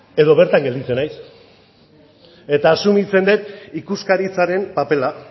edo bertan gelditzen naiz eta asumitzen dut ikuskaritzaren papera